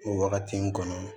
O wagati in kɔnɔ